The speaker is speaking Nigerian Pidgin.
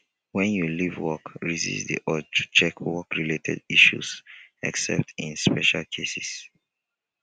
when you leave work resist di urge to check work related issues except in special cases